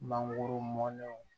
Mangoro mɔnnenw